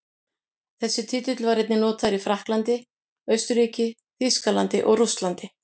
Þessi titill var einnig notaður í Frakklandi, Austurríki, Þýskalandi og Rússlandi.